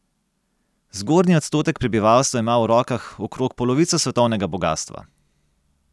Zgornji odstotek prebivalstva ima v rokah okrog polovico svetovnega bogastva.